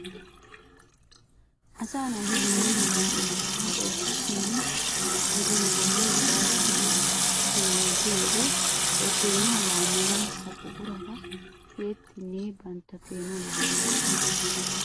Asaa naati dumma dumma oosota ootti simmin gidin bollay cawattidi peenotiyo wode he peenuwa laammanawu ha buqurata tiyyettinne bantta peenuwa laammoosona.